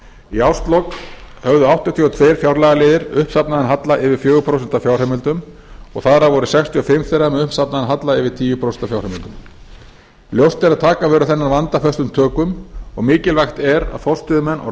í árslok höfðu áttatíu og tvö fjárlagaliðir uppsafnaðan halla yfir fjögur prósent af fjárheimildum og þar af voru sextíu og fimm þeirra með uppsafnaðan halla yfir tíu prósent af fjárheimildum ljóst er að taka verður þennan vanda föstum tökum og mikilvægt er að forstöðumenn og